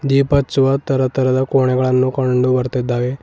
ದೀಪ ಹಚ್ಚುವ ತರ ತರಹದ ಕೋಣೆಗಳನ್ನು ಕಂಡು ಬರ್ತೀದ್ದಾವೆ.